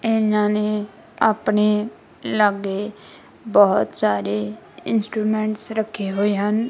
ਇਹਨਾਂ ਨੇ ਆਪਣੇ ਲਾਗੇ ਬਹੁਤ ਸਾਰੇ ਇੰਸਟਰੂਮੈਂਟਸ ਰੱਖੇ ਹੋਏ ਹਨ।